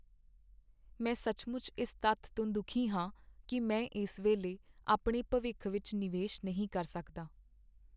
ਮੈਂ ਸੱਚਮੁੱਚ ਇਸ ਤੱਥ ਤੋਂ ਦੁਖੀ ਹਾਂ ਕਿ ਮੈਂ ਇਸ ਵੇਲੇ ਆਪਣੇ ਭਵਿੱਖ ਵਿੱਚ ਨਿਵੇਸ਼ ਨਹੀਂ ਕਰ ਸਕਦਾ।